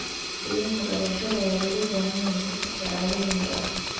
Shahaadooyinka dhalashada ayaa looga baahan yahay safarka caalamiga ah.